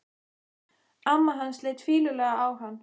Amma hans leit fýlulega á hann.